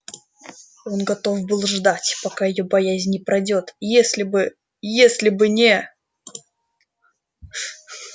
он готов был бы ждать пока её боязнь не пройдёт если бы если бы не